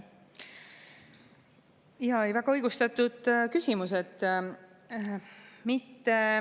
Väga õigustatud küsimus.